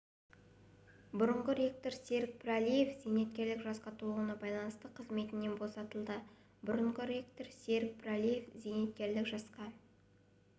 бұрынғы ректор серік пірәлиев зейнеткерлік жасқа толуына байланысты қызметінен босатылды бұрынғы ректор серік пірәлиев зейнеткерлік жасқа